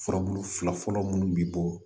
Furabulu fila fɔlɔ munnu bi bɔ